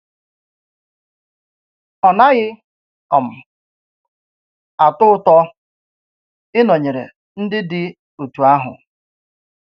Ọ naghị um atọ ùtọ ịnọnyere ndị dị otú áhù.